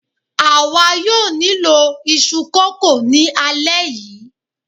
àwa yóò nílò iṣu kókò ni alẹ́ yìí